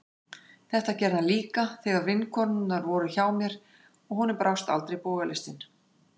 Þetta gerði hann líka þegar vinkonurnar voru hjá mér, og honum brást aldrei bogalistin.